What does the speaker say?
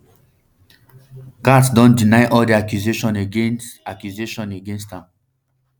gaetz don deny all di accusations against accusations against am